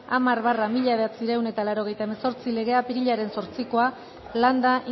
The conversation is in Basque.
hamar barra mila bederatziehun eta laurogeita hemezortzi legea apirilaren zortzikoa landa